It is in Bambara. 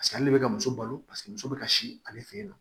ale bɛ ka muso balo paseke muso bɛ ka si ale fɛ yen nɔ